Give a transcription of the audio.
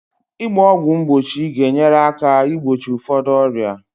Ịgba ọgwụ mgbochi ga-enyere aka igbochi ụfọdụ ọrịa